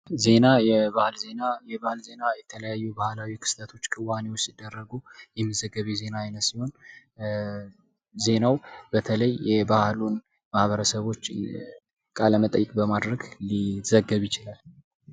የባህል ዜና የተለያዩ ባህላዊ ክስተቶ ክዋኔዎች ሲደረጉ የሚዘገብ የዜና አይነት ሲሆን ዜናው በተለይ የባህሉን ማህበረሰቦች ቃለመጠይቅ በማድረግ ሊዘገብ ይችላል።